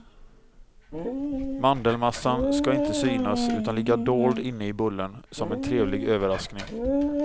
Mandelmassan ska inte synas utan ligga dold inne i bullen, som en trevlig överraskning.